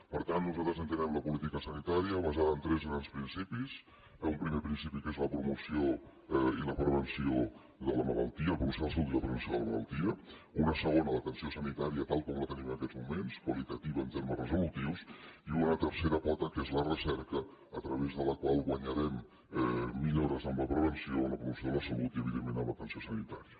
per tant nosaltres entenem la política sanitària basada en tres grans principis un primer principi que és la promoció de la salut i la prevenció de la malaltia un segon l’atenció sanitària tal com la tenim en aquests moments qualitativa en termes resolutius i una tercera pota que és la recerca a través de la qual guanyarem millores en la prevenció en la promoció de la salut i evidentment en l’atenció sanitària